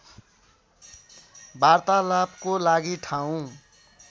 वार्तालापको लागि ठाउँ